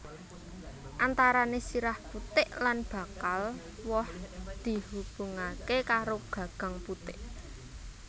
Antarané sirah putik lan bakal woh dihubungaké karo gagang putik